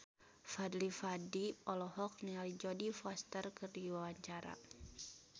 Fadly Padi olohok ningali Jodie Foster keur diwawancara